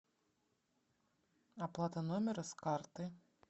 оплата номера с карты